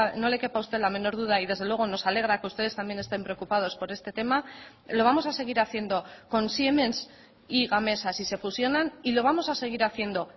no le quepa a usted la menor duda y desde luego nos alegra que ustedes también estén preocupados por este tema lo vamos a seguir haciendo con siemens y gamesa si se fusionan y lo vamos a seguir haciendo